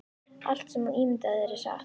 Allt sem þú ímyndar þér er satt